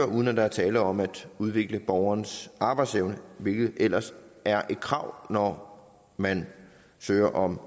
uden at der er tale om at udvikle borgerens arbejdsevne hvilket ellers er et krav når man søger om